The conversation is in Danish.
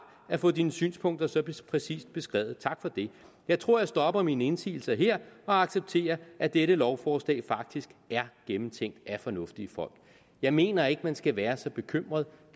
at få dine synspunkter så præcist beskrevet tak for det jeg tror jeg stopper mine indsigelser her og accepterer at dette lovforslag faktisk er gennemtænkt af fornuftige folk jeg mener ikke man skal være så bekymret